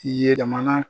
Yɛlɛmana